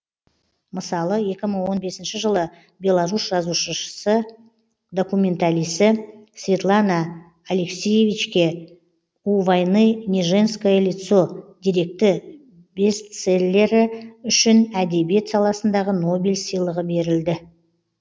мысалы екі мың он бесінші жылы беларус жазушышысы документалисі светлана алексиевичке у войны не женское лицо деректі бестселлері үшін әдебиет саласындағы нобель сыйлығы берілді